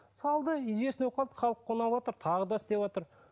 салды известный болып қалды халыққа ұнаватыр тағы да істеватыр